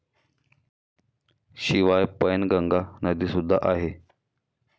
शिवाय पैनगंगा नदीसुद्धा आहे.